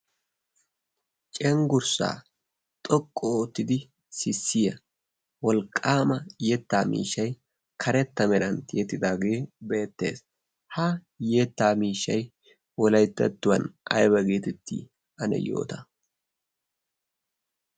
cenggurssaa xoqqu oottidi sissiya wolqqaama yettaa miishshai karetta merantti ettidaagee beettees. ha yettaa miishshai wolaittettuwan aiba geetittii ane yoota.